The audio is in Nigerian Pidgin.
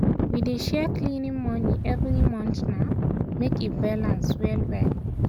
we dey share cleaning money every month um make e balance well-well.